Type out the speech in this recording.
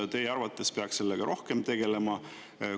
Kas teie arvates peaks sellega rohkem tegelema?